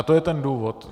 A to je ten důvod.